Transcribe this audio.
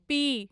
पी